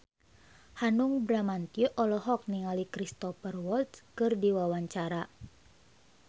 Hanung Bramantyo olohok ningali Cristhoper Waltz keur diwawancara